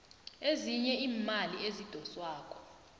ezinye iimali ezidoswako